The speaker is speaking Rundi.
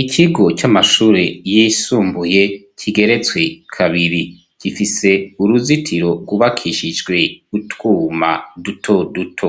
Ikigo c'amashuri y'isumbuye kigeretswe kabiri. Gifise uruzitiro gubakishijwe utwuma duto duto.